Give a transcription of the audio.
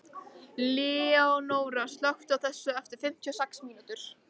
Leónóra, slökktu á þessu eftir fimmtíu og sex mínútur.